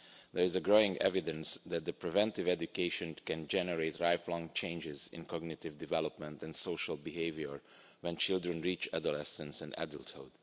There is growing evidence that preventive education can generate lifelong changes in cognitive development and social behaviour when children reach adolescence and adulthood.